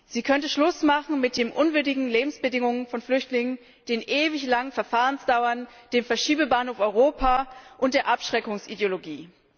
Sie könnte Schluss machen mit den unwürdigen Lebensbedingungen von Flüchtlingen, den ewig langen Verfahrensdauern, dem Verschiebebahnhof Europa und der Abschreckungsideologie.